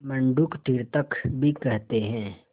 मंडूक तीर्थक भी कहते हैं